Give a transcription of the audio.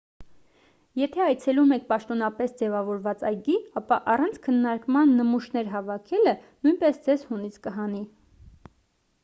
եթե այցելում եք պաշտոնապես ձևավորված այգի ապա առանց քննարկման նմուշներ հավաքելը նույնպես ձեզ հունից կհանի